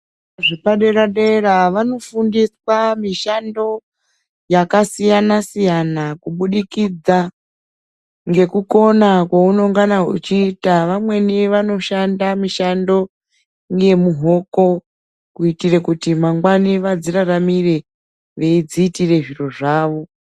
Zvikora zvepadera dera vanofundiswa mishando yakasiyana siyana kubudikidza ngekukona kwaunongana uchiita. Vamweni vanoshanda mishando ngemuhoko kuitire kuti mangwana vadziraramire veidziitire zviro zvawo.